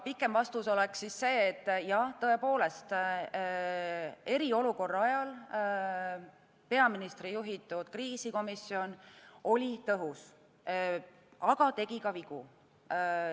Pikem vastus oleks see, et tõepoolest, eriolukorra ajal peaministri juhitud kriisikomisjon oli tõhus, aga tegi ka vigu.